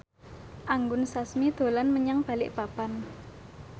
Anggun Sasmi dolan menyang Balikpapan